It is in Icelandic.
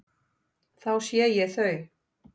Þá sé ég þau.